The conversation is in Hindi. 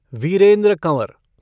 वीरेन्द्र कंवर